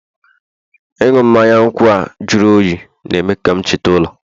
ịṅụ mmanya nkwụ a jụrụ oyi na-eme ka m cheta ụlọ